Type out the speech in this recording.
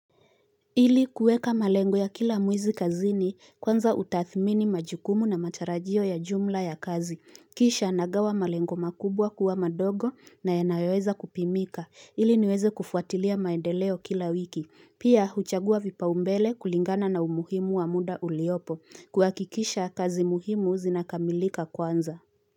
Ili kuweka malengo ya kila mwizi kazini kwanza utathimini majukumu na matarajio ya jumla ya kazi. Kisha nagawa malengo makubwa kuwa madogo na yanayoweza kupimika. Ili niweze kufuatilia maendeleo kila wiki. Pia huchagua vipao mbele kulingana na umuhimu wa muda uliopo kuhakikisha kazi muhimu zinakamilika kwanza.